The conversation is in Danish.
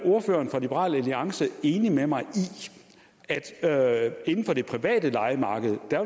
enig med mig i at der inden for det private lejemarked